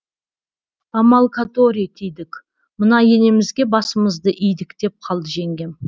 амал который тидік мына енемізге басымызды идік деп қалды жеңгем